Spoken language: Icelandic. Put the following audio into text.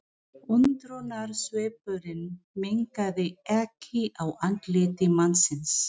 Undrunarsvipurinn minnkaði ekki á andliti mannsins.